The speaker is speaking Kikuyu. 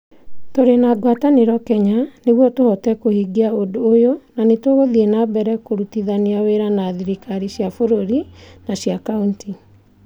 "Tũrĩ na ngwatanĩro Kenya nĩguo tũhote kũhingia ũndũ ũyũ na nĩtũgũthiĩ na mbere kũrutithania wĩra na thirikari cia bũrũri na cia kaunti".